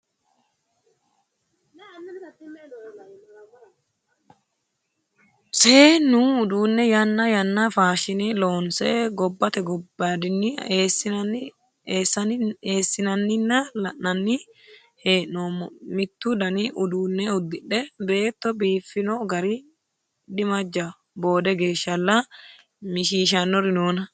Seennu uduune yanna yanna faashine loonse gobbate gobbadinni eessinanna la'nanni hee'noommo, mitu dani uduune uddidhe beetto biifino gari dimajaho boode geeshshalla mishishanori noona.